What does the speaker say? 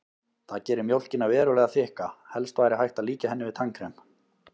Það gerir mjólkina verulega þykka, helst væri hægt að líkja henni við tannkrem.